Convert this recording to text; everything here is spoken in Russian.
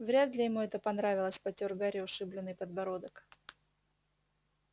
вряд ли ему это понравилось потёр гарри ушибленный подбородок